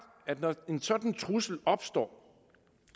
at når en sådan trussel opstår